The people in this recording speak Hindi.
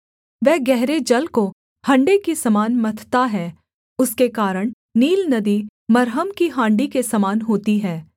वह गहरे जल को हण्डे के समान मथता है उसके कारण नील नदी मरहम की हाण्डी के समान होती है